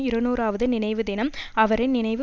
இருநூறாவது நினைவுதினம் அவரின் நினைவு